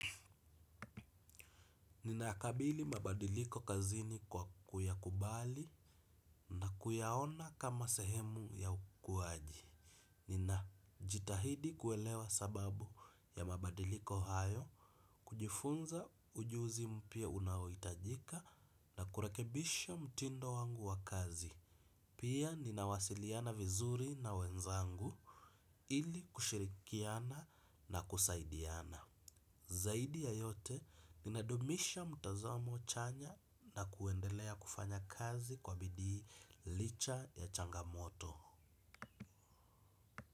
Ninayakabili mabadiliko kazini kwa kuya kubali na kuyaona kama sehemu ya ukuwaji. Nina jitahidi kuelewa sababu ya mabadiliko hayo kujifunza ujuzi mpya unaoitajika na kurekebisha mtindo wangu wa kazi. Pia ninawasiliana vizuri na wenzangu ili kushirikiana na kusaidiana. Zaidi ya yote ninadumisha mtazamo chanya na kuendelea kufanya kazi kwa bidii licha ya changamoto.